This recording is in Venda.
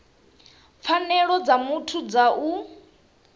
pfanelo dza muthu dza u